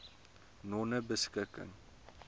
nonebeskikking